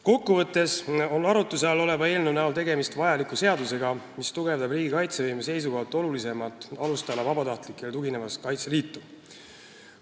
Kokku võttes on arutluse all oleva eelnõu näol tegemist vajaliku seadusega, mis tugevdab riigi kaitsevõime seisukohalt olulisemat alustala, vabatahtlikele tuginevat Kaitseliitu.